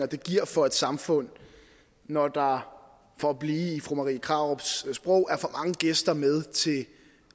det giver for et samfund når der for at blive i fru marie krarups sprog er for mange gæster med